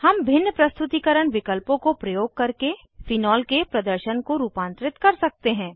हम भिन्न प्रस्तुतीकरण विकल्पों को प्रयोग करके फेनोल के प्रदर्शन को रूपांतरित कर सकते हैं